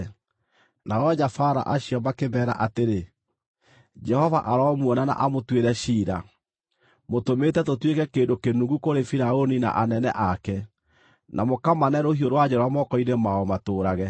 nao anyabara acio makĩmeera atĩrĩ, “Jehova aromuona na amũtuĩre ciira! Mũtũmĩte tũtuĩke kĩndũ kĩnungu kũrĩ Firaũni na anene ake, na mũkamane rũhiũ rwa njora moko-inĩ mao matũũrage.”